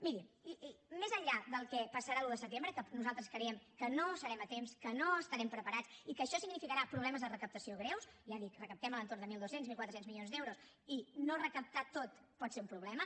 miri més enllà del que passarà l’un de setembre que nosaltres creiem que no hi serem a temps que no estarem preparats i que això significarà problemes de recaptació greus ja dic recaptem a l’entorn de mil dos cents mil quatre cents milions d’euros i no recaptar ho tot pot ser un problema